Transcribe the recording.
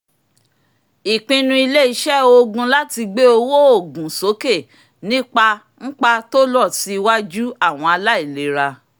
ìpinnu ilé-iṣẹ́ oogun láti gbé owó òògùn sókè nípa ńpa tó rọ̀ sí ìtọju àwọn aláìlera